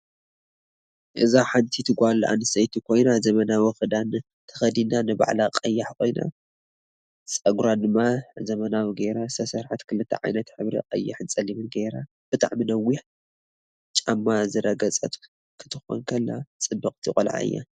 እዚ ሓንቲት ጋል ኣንስተይቲ ኮይና ዘመናዊ ክዳን ተኪዲና ንባዕላ ቀያሕ ኮይና ፀግራ ድማ ዘመናዊ ገይራ ዝተሰርሐት ክልተ ዓይነት ሕብሪ ቀይሕን ፀሊምን ገይራ ብጣዓሚ ነውሕ ጫማዝረገፀት ክትኮን ከላ ፅብቅቲ ቆላዓ እያ።